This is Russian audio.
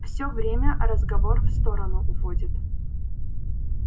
все время разговор в сторону уводит